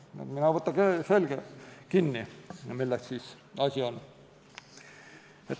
Nii et mine võta kinni, milles siis asi on.